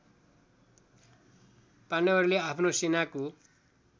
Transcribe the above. पाण्डवहरूले आफ्नो सेनाको